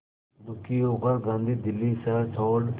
दुखी होकर गांधी दिल्ली शहर छोड़